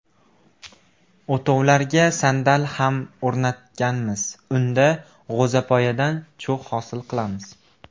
O‘tovlarga sandal ham o‘rnatganmiz, unda g‘o‘zapoyadan cho‘g‘ hosil qilamiz.